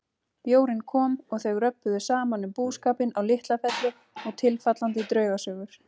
Bjórinn kom og þau röbbuðu saman um búskapinn á LitlaFelli og tilfallandi draugasögur.